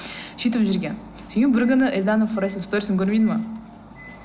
сөйтіп жүргенмін бір күні эльдана форайздың сторисын көрмейді ме